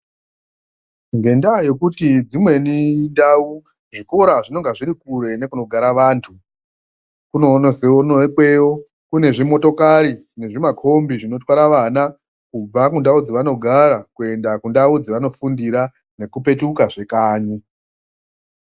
Ngendaa yekuti dzimweni ndau zvikora zvinonga zviri kure nekunogara vantu, kunonekwa seikweyo kune zvimotokari nezvimakombi zvinotwara vana kubva kundau dzvanogara nendau dzevanofundira nekupetukazve kanyi.